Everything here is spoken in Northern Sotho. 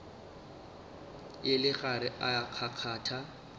e le gare e kgakgatha